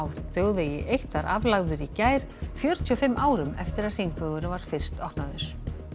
þjóðvegi eitt var aflagður í gær fjörutíu og fimm árum eftir að hringvegurinn var fyrst opnaður